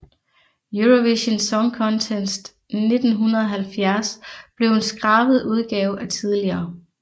Eurovision Song Contest 1970 blev en skrabet udgave af tidligere